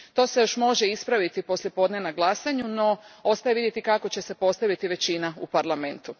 To se još može ispraviti poslijepodne na glasanju, no ostaje vidjeti kako će se postaviti većina u Parlamentu.